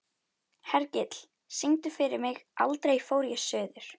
Hergill, syngdu fyrir mig „Aldrei fór ég suður“.